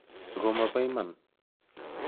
Ako ma bo iman.